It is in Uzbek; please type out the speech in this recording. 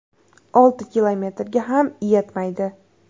Olti kilometrga ham yetmaydi.